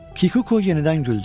Kikuko yenidən güldü.